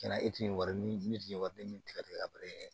Cɛn na e tun ye wari min min tun ye wari den min tigɛ tigɛ ka bari